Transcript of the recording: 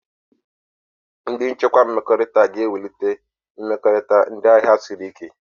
Ndị njikwa mmekọrịta ga-ewulite mmekọrịta ndị ahịa siri ike.